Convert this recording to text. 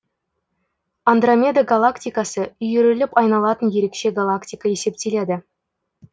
андромеда галактикасы үйіріліп айналатын ерекше галактика есептеледі